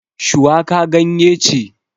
Shuwaka ganye ce